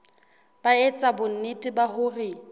ba etsa bonnete ba hore